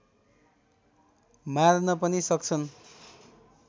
मार्न पनि सक्छन्